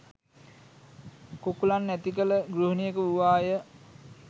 කුකුළන් ඇතිකළ ගෘහනියක වූවා ය.